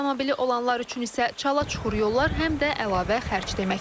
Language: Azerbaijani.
Avtomobili olanlar üçün isə çala-çuxur yollar həm də əlavə xərc deməkdir.